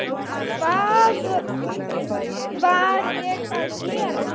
Hvað var ég að gera.?